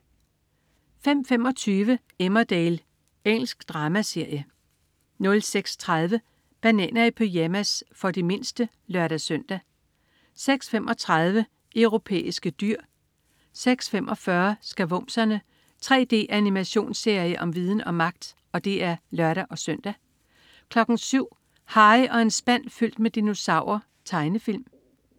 05.25 Emmerdale. Engelsk dramaserie 06.30 Bananer i pyjamas. For de mindste (lør-søn) 06.35 Europæiske dyr (lør-søn) 06.45 Skavumserne. 3D-animationsserie om viden og magt! (lør-søn) 07.00 Harry og en spand fyldt med dinosaurer. Tegnefilm